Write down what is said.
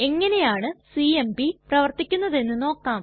എങ്ങനെയാണു സിഎംപി പ്രവർത്തിക്കുന്നതെന്ന് നോക്കാം